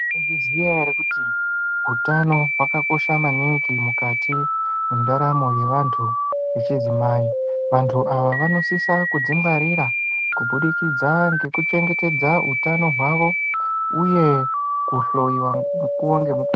Munozviziya here kuti hutano hwakakosha maningi mukati mendaramo yevantu vechidzimai. Vantu ava vanosisa kuzvingwarira kubudikidza ngekuchengetedza utano hwavo uye kuhloyiwa mukuwo ngemukuwo.